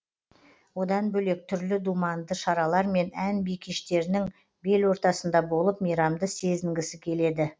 одан бөлек түрлі думанды шаралар мен ән би кештерінің бел ортасында болып мейрамды сезінгісі келеді